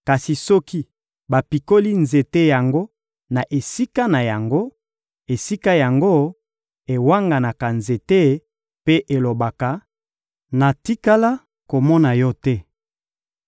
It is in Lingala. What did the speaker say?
kasi soki bapikoli nzete yango na esika na yango, esika yango ewanganaka nzete mpe elobaka: ‹Natikala komona yo te!›